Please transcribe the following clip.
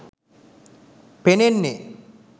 පෙනෙන්නේ